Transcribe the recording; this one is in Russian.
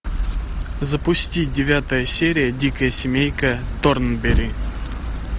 запусти девятая серия дикая семейка торнберри